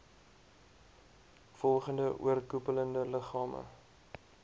volgende oorkoepelende liggame